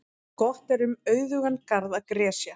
Gott er um auðugan garð að gresja.